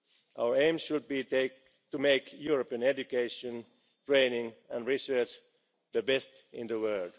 global competition. Our aim should be to make European education, training and research the